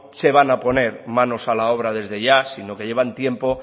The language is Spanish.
se van a poner manos a la obra desde ya sino que llevan tiempo